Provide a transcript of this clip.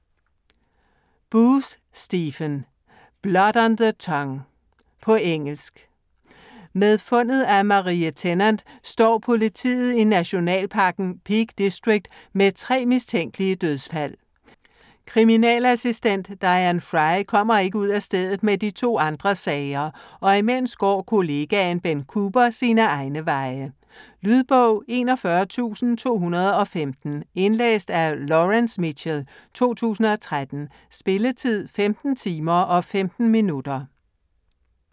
Booth, Stephen: Blood on the tongue På engelsk. Med fundet af Marie Tennant står politiet i nationalparken Peak District med tre mistænkelige dødsfald. Kriminalassistent Diane Fry kommer ikke ud af stedet med de to andre sager. Og imens går kollegaen Ben Cooper sine egne veje. Lydbog 41215 Indlæst af Laurence Mitchell, 2013. Spilletid: 15 timer, 15 minutter.